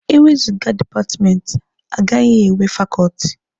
E wezụga dipatmenti, agaghị enwe fakọọtị.